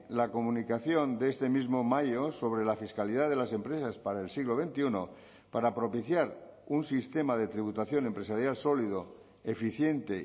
la comunicación de este mismo mayo sobre la fiscalidad de las empresas para el siglo veintiuno para propiciar un sistema de tributación empresarial sólido eficiente